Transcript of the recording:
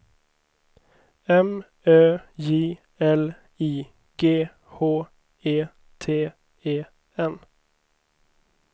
M Ö J L I G H E T E N